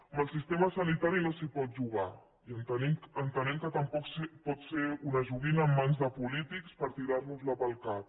amb el sistema sanitari no s’hi pot jugar i entenem que tampoc pot ser una joguina en mans de polítics per tirar nos la pel cap